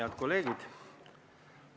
Head kolleegid!